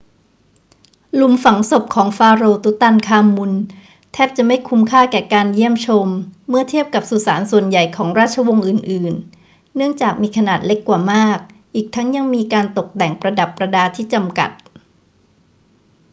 หลุมฝังศพของฟาโรห์ตุตันคามุนแทบจะไม่คุ้มค่าแก่การเยี่ยมชมเมื่อเทียบกับสุสานส่วนใหญ่ของราชวงศ์อื่น ๆ เนื่องจากมีขนาดเล็กกว่ามาก อีกทั้งยังมีการตกแต่งประดับประดาที่จำกัด